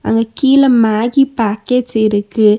அங்க கீழ மேகிபேக்கட்ஸ் இருக்கு.